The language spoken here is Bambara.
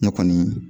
Ne kɔni